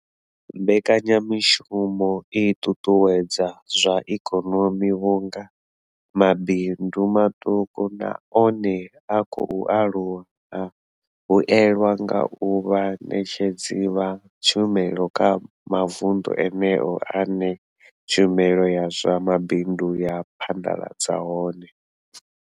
Mbekanya mushumo i ṱuṱuwedza zwa ikonomi vhunga mabindu maṱuku na one a khou aluwa a vhuelwa nga u vha vhaṋetshedzi vha tshumelo kha mavundu eneyo ane tshumelo ya zwa mabindu ya phaḓaladzwa hone.